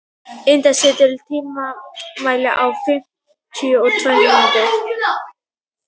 Indí, stilltu tímamælinn á fimmtíu og tvær mínútur.